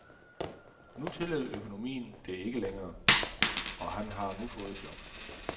Nu tillod økonomien det ikke længere, og han har nu fået job.